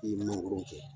I ye mangoro kɛ